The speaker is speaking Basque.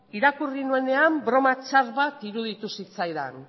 irakurri nuenean broma txar bat iruditu zitzaidan